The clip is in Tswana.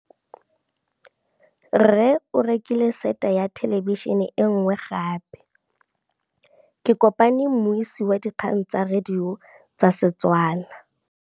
Rre o rekile sete ya thêlêbišênê e nngwe gape. Ke kopane mmuisi w dikgang tsa radio tsa Setswana.